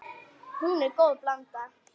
Hún er góð blanda.